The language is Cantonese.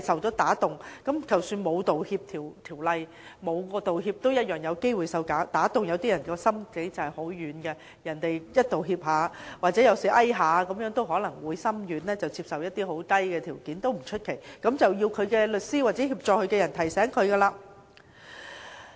即使沒有《道歉條例》或作出道歉，受屈人同樣有機會被打動，因為有些人心腸軟，只要對方道歉或被遊說便會心軟，接受一些很低的條件，這也不足為奇，這要靠律師或協助他的人給予提醒。